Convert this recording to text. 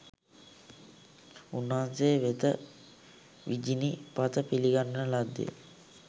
උන්වහන්සේ වෙත විජිනි පත පිළිගන්වන ලද්දේ